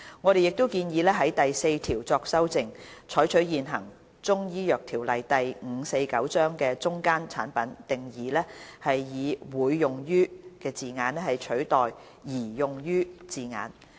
我們亦建議修訂第4條，採用現行《中醫藥條例》的"中間產品"定義，以"會用於"字眼取代"擬用於"字眼。